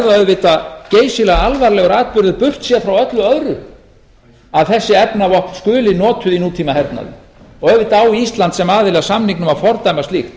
auðvitað geysilega alvarlegur atburður burtséð frá öllu öðru að þessi efnavopn skuli notuð í nútímahernaði auðvitað á ísland sem aðili að samningnum að fordæma slíkt